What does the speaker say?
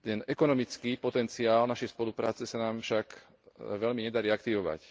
Ekonomický potenciál našej spolupráce sa nám však veľmi nedarí aktivovať.